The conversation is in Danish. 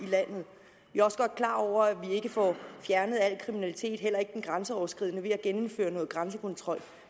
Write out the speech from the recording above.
i også godt klar over at vi ikke får fjernet al kriminalitet heller ikke den grænseoverskridende ved at gennemføre noget grænsekontrol